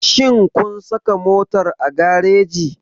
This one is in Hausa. Shin kun saka motar a gareji?